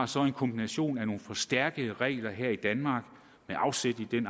så har en kombination af forstærkede regler her i danmark med afsæt i den